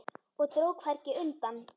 Og dró hvergi undan.